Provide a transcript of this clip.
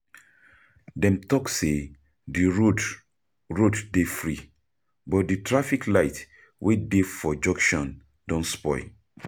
Dem talk say di road dey free, but di traffic light wey dey for junction don spoil.